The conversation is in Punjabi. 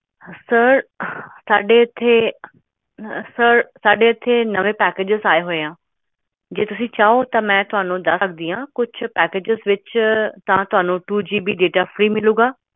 sir ਸਾਡੇ ਕੁਝ ਨਵੇਂ packages ਹਨ two gb ਹੋਵੇਗਾ